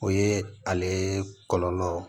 O ye ale kɔlɔlɔ